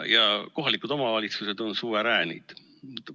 Ja kohalikud omavalitsused on suveräänid.